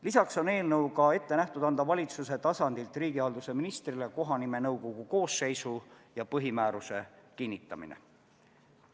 Lisaks on eelnõuga ette nähtud, et kohanimenõukogu koosseisu ja põhimääruse kinnitamise õigus antakse valitsuselt üle riigihalduse ministrile.